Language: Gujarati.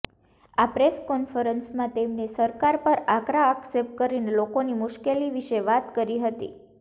આ પ્રેસ કોન્ફરન્સમાં તેમણે સરકાર પર આકરા આક્ષેપ કરીને લોકોની મુશ્કેલી વિશે વાત કરી હતી